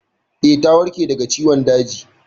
Eh, ta warke daga ciwon daji.